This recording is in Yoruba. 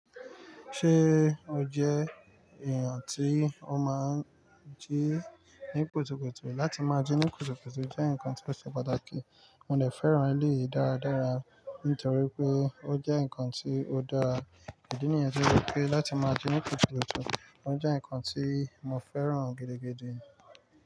Ṣé o jẹ èèyàn tí o máa ń jí ní kùtùkùtù? Látí máa jí ní kùtùkùtù jẹ́ ǹkan tí ó ṣe pàtàkì. Mo dẹ fẹ́ràn eleyìí dáradára nítorí pé ó jẹ́ ǹkan tí ó dá ìdí nìyẹn pé láti máa jí ni kùtukutu ó jẹ́ ǹkan tí mo fẹ́ràn gidigidi.